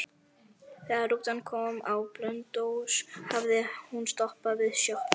Þegar rútan kom á Blönduós hafði hún stoppað við sjoppu.